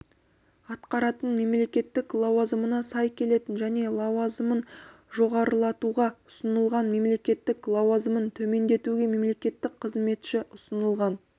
атқаратын мемлекеттік лауазымына сай келетін және лауазымын жоғарлатуға ұсынылған мемлекеттік лауазымын төмендетуге мемлекеттік қызметші ұсынылған